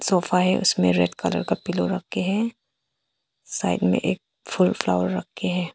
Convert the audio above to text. Sofa है उसमें red colour का पिलो रख के है साइड में एक फूल फ्लावर रख के है।